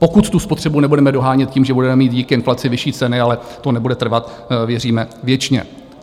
Pokud tu spotřebu nebudeme dohánět tím, že budeme mít díky inflaci vyšší ceny, ale to nebude trvat, věříme, věčně.